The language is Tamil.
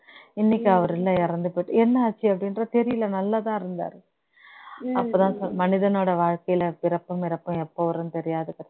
இன்னைக்கு அவர் இல்ல எழுந்து போயி என்ன ஆச்சு அப்ப்டின்ற தெரியல நல்லா தான் இருந்தாரு அப்போதான் மனிதனோட வாழ்கையில் பிறப்பும் இறப்பும் எப்போ வரும்னு தெரியாது